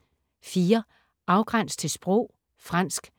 Afgræns til sprog: fransk